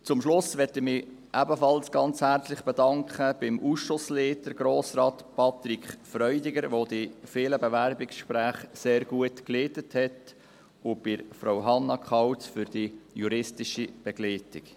Zum Schluss möchte ich mich ebenfalls ganz herzlich beim Ausschussleiter, Grossrat Patrick Freudiger, bedanken, der die vielen Bewerbungsgespräche sehr gut geleitet hat, und bei Frau Hannah Kauz für die juristische Begleitung.